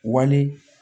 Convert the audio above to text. Wali